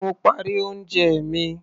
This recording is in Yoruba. Mo parí oúnjẹ mi.